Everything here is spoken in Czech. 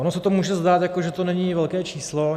Ono se to může zdát, jako že to není velké číslo.